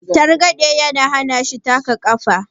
targade ya hana shi taka kafar